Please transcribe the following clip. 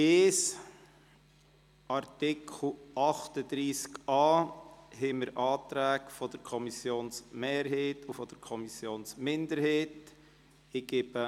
Zu Artikel 38a liegen Anträge der Kommissionsmehrheit und der Kommissionsminderheit vor.